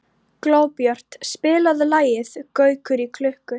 Glóbjört, spilaðu lagið „Gaukur í klukku“.